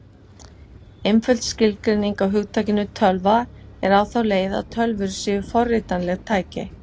Einföld skilgreining á hugtakinu tölva er á þá leið að tölvur séu forritanleg tæki.